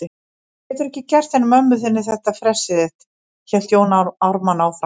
Þú getur ekki gert henni mömmu þinni þetta fressið þitt, hélt Jón Ármann áfram.